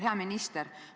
Hea minister!